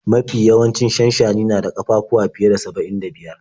Mafi yawancin shanshani na da ƙafafuwa fiye da saba'in da biyar.